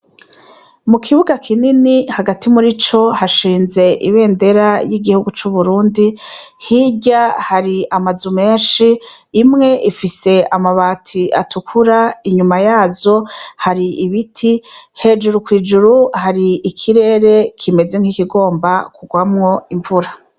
Mu kibuga kinini hagati murico hashinze ibendera y'igihugu c'Uburundi hirya hari amazu menshi imwe ifise amabati atukura, inyuma yazo hari ibiti, hejuru kw'ijuru hari ikirere kimeze nk'ikigomba kugwamwo imvura.